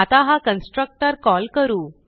आता हा constructor call करू